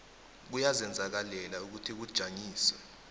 kuyazenzakalela ukuthi kujanyiswe